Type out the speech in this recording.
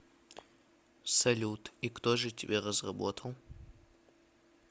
салют и кто же тебя разработал